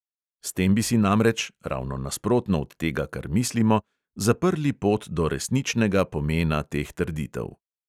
S tem bi si namreč, ravno nasprotno od tega, kar mislimo, zaprli pot do resničnega pomena teh trditev.